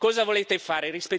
Cosa volete fare?